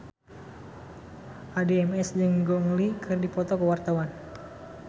Addie MS jeung Gong Li keur dipoto ku wartawan